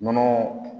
Nɔnɔ